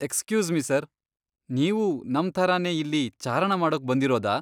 Excuse me sir, ನೀವೂ ನಮ್ ಥರನೇ ಇಲ್ಲಿ ಚಾರಣ ಮಾಡೋಕ್ ಬಂದಿರೋದಾ?